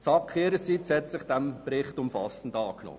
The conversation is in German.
Die SAK hat sich dieses Berichts umfassend angenommen.